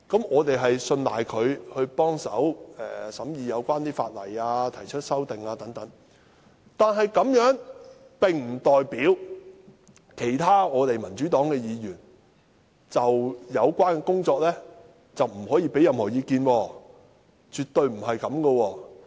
我們信賴他們一同協助審議有關法例及提出修訂，但這樣並不代表其他民主黨議員不可就有關工作提出意見，絕對不是這樣。